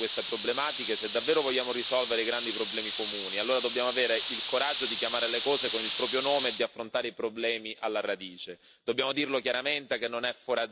Ma se vogliamo affrontare in maniera efficace queste problematiche e se davvero vogliamo risolvere i grandi problemi comuni, allora dobbiamo avere il coraggio di chiamare le cose con il proprio nome e di affrontare i problemi alla radice.